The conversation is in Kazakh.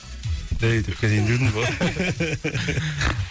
жай тұрып кетейін деп едім ғой